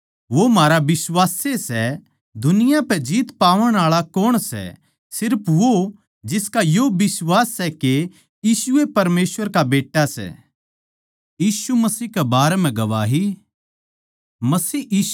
मसीह यीशु ए सै जिसनै बपतिस्मे लिया अर म्हारे खात्तर सूळी पै अपणा लहू भी बहाया